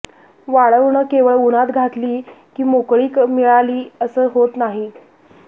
वाळवणं केवळ उन्हात घातली की मोकळीक मिळाली असं होत नाही